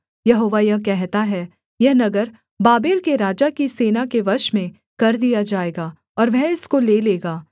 यहोवा यह कहता है यह नगर बाबेल के राजा की सेना के वश में कर दिया जाएगा और वह इसको ले लेगा